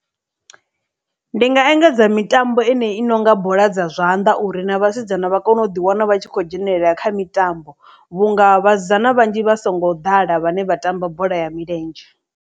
Ndi nga engedza mitambo inei nonga bola dza zwanḓa uri na vhasidzana vha kone u ḓi wana vha tshi khou dzhenelela kha mitambo vhunga vhasidzana vhanzhi vha songo ḓala vhane vha tamba bola ya milenzhe.